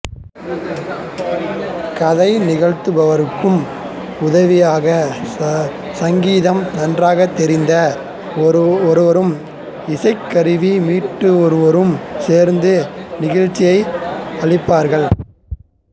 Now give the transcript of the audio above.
கதை நிகழ்த்துபவருக்கு உதவியாக சங்கீதம் நன்றாகத் தெரிந்த ஒருவரும் இசைக் கருவிகளை மீட்டுவோரும் சேர்ந்து நிகழ்ச்சியை அளிப்பார்கள்